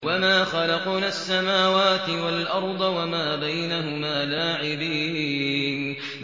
وَمَا خَلَقْنَا السَّمَاوَاتِ وَالْأَرْضَ وَمَا بَيْنَهُمَا لَاعِبِينَ